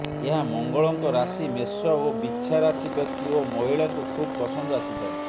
ଏହା ମଙ୍ଗଳଙ୍କ ରାଶି ମେଷ ଓ ବିଛା ରାଶି ବ୍ୟକ୍ତି ଓ ମହିଳାଙ୍କୁ ଖୁବ ପସନ୍ଦ ଆସିଥାଏ